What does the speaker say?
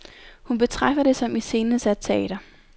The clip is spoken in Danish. Hun betragter det som iscenesat teater.